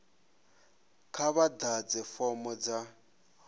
kha vha ḓadze fomo dza